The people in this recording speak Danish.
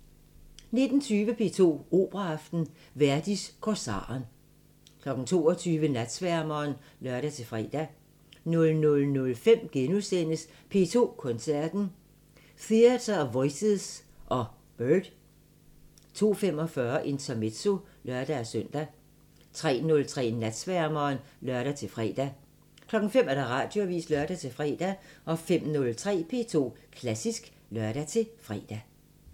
19:20: P2 Operaaften – Verdi: Korsaren 22:00: Natsværmeren (lør-fre) 00:05: P2 Koncerten – Theatre of Voices og Byrd * 02:45: Intermezzo (lør-søn) 03:03: Natsværmeren (lør-fre) 05:00: Radioavisen (lør-fre) 05:03: P2 Klassisk (lør-fre)